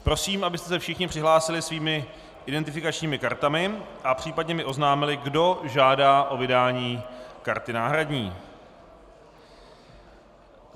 Prosím, abyste se všichni přihlásili svými identifikačními kartami a případně mi oznámili, kdo žádá o vydání karty náhradní.